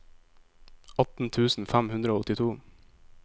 atten tusen fem hundre og åttito